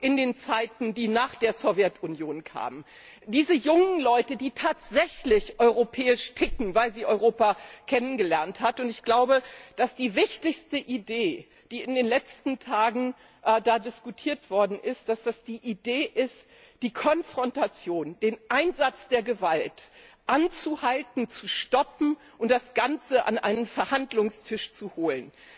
in den Zeiten der Sowjetunion hat, die nach der Sowjetunion kam, diese jungen Leute, die tatsächlich europäisch ticken, weil sie Europa kennengelernt haben. Und ich glaube, dass die wichtigste Idee, die in den letzten Tagen da diskutiert wurde, die Idee ist, die Konfrontation, den Einsatz der Gewalt anzuhalten, zu stoppen und das Ganze an einen Verhandlungstisch zu holen.